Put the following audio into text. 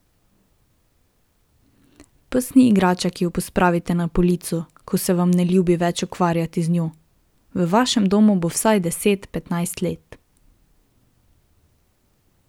Pes ni igrača, ki jo pospravite na polico, ko se vam ne ljubi več ukvarjati z njo, v vašem domu bo vsaj deset, petnajst let.